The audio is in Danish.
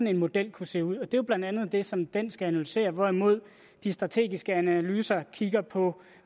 en model kunne se ud det er blandt andet det som den skal analysere hvorimod de strategiske analyser kigger på